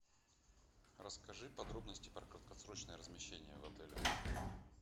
расскажи подробности про краткосрочное размещение в отеле